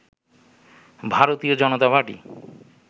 ভারতীয় জনতা পার্টি